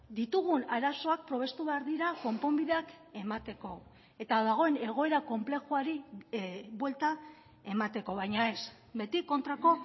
ditugun arazoak probestu behar dira konponbideak emateko eta dagoen egoera konplexuari buelta emateko baina ez beti kontrako